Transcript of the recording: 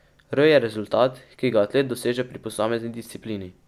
R je rezultat, ki ga atlet doseže pri posamezni disciplini.